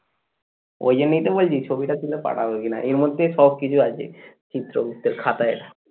ওই জন্যই তো বলছি ছবিটা তুলে পাঠাবো কিনা এর মধ্যে সবকিছু আছে চিত্রগুপ্তের খাতায়।